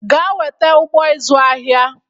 Gaa weta ụgbọ ịzụ ahịa